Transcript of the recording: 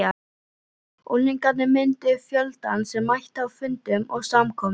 Unglingarnir mynduðu fjöldann sem mætti á fundum og samkomum.